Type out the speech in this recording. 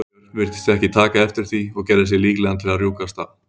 björn virtist ekki taka eftir því og gerði sig líklegan til að rjúka af stað.